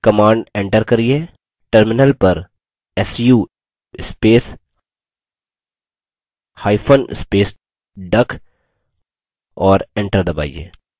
command enter करिये terminal पर su space hyphen space duck और enter दबाइए